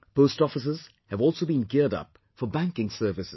Post offices have also been geared up for banking services